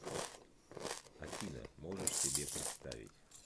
афина можешь себе представить